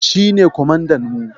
Shi ne kwamandan mu.